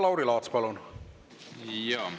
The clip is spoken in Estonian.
Lauri Laats, palun!